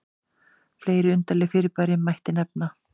fleiri undarleg fyrirbæri mætti nefna